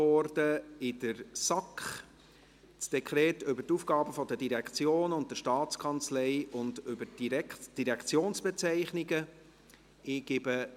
Es handelt sich um das Dekret über die Aufgaben der Direktionen und der Staatskanzlei und die Direktionsbezeichnungen (ADSD).